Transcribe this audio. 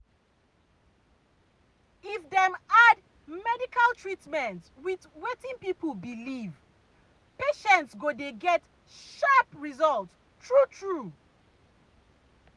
if dem add medical treatment with wetin people believe patients go dey get sharp result true true.